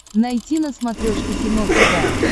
найти на смотрешке кино тв